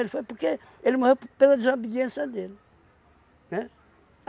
Ele foi porque ele morreu p pela desobediência dele, né?